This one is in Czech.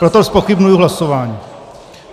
Proto zpochybňuji hlasování.